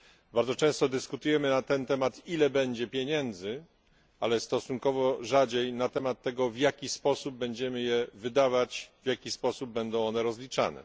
Bardzo często dyskutujemy na ten temat, ile będzie pieniędzy, ale stosunkowo rzadziej na temat tego, w jaki sposób będziemy je wydawać, w jaki sposób będą one rozliczane.